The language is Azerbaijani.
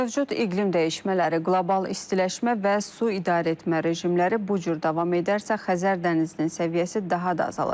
Mövcud iqlim dəyişmələri, qlobal istiləşmə və su idarəetmə rejimləri bu cür davam edərsə, Xəzər dənizinin səviyyəsi daha da azalacaq.